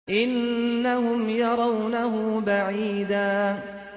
إِنَّهُمْ يَرَوْنَهُ بَعِيدًا